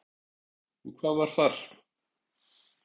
Og hvað var þar?